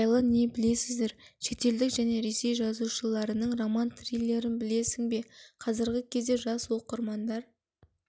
жайлы не білесіздер шетелдік және ресей жазушыларының роман триллерін білесің бе қазіргі кезде жас оқырмандар